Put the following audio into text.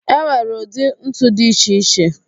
E nwere ụdị ntu dị iche iche